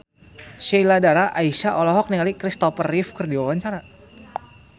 Sheila Dara Aisha olohok ningali Kristopher Reeve keur diwawancara